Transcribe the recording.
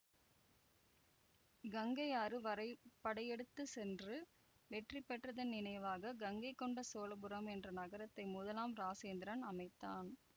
கங்கை ஆறு வரை படையெடுத்து சென்று வெற்றி பெற்றதன் நினைவாக கங்கை கொண்ட சோழபுரம் என்ற நகரத்தை முதலாம் இராசேந்திரன் அமைத்தான்